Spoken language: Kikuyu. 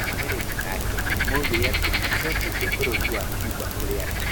Arũmĩrĩri ake moigire atĩ nĩ aacoketie bũrũri wa Cuba kũrĩ andũ.